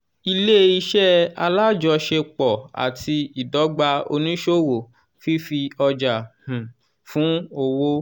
ilé- iṣẹ́ alájọṣepọ̀ àti ìdọ́gba oníṣòwò fífi ọjà um fún owó.